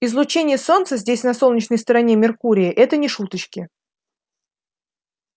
излучение солнца здесь на солнечной стороне меркурия это не шуточки